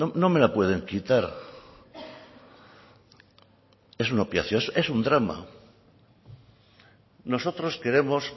no me la pueden quitar es un opiáceo es un drama nosotros queremos